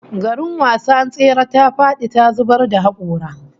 Garin wasan tsere ta fadi ta zubar da hakora